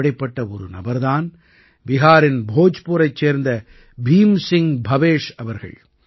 இப்படிப்பட்ட ஒரு நபர் தான் பிஹாரின் போஜ்புரைச் சேர்ந்த பீம் சிங் பவேஷ் அவர்கள்